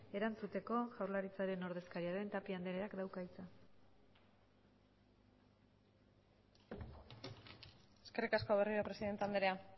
erantzuteko jaurlaritzaren ordezkaria den tapia andreak dauka hitza eskerrik asko berriro presidente andrea